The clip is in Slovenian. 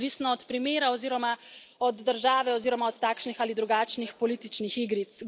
Odvisno od primera oziroma od države oziroma od takšnih ali drugačnih političnih igric.